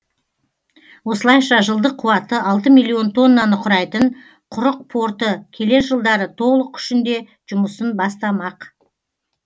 осылайша жылдық қуаты алты миллион тоннаны құрайтын құрық порты келер жылдары толық күшінде жұмысын бастамақ